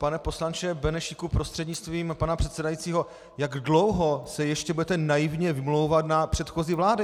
Pane poslanče Benešíku prostřednictvím pana předsedajícího, jak dlouho se ještě budete naivně vymlouvat na předchozí vlády?